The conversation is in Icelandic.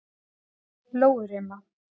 Lóurima